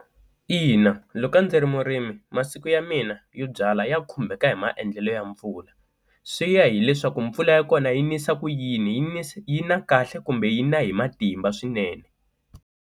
Ina loko a ndzi ri murimi masiku ya mina yo byalwa ya khumbeka hi maendlelo ya mpfula swi ya hileswaku mpfula ya kona yi nisa ku yini yi yi na kahle kumbe yi na hi matimba swinene.